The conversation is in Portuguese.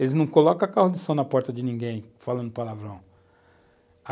Eles não colocam carro de som na porta de ninguém, falando palavrão.